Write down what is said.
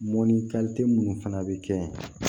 Mɔnni minnu fana bɛ kɛ